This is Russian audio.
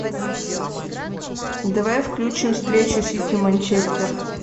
давай включим встречу сити манчестер